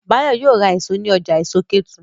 Báyọ̀ ma ra èso ní ọjà èso Kétu